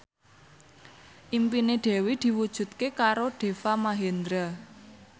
impine Dewi diwujudke karo Deva Mahendra